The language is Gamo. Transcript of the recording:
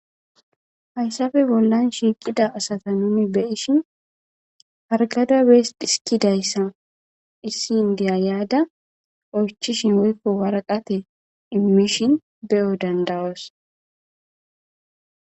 Hayssafe bollan shiiqida asata nuni beyishin hargada bees dhiskidayssa issi indiya yaada oychishin woykko waraqate immishin beyo dandawoos.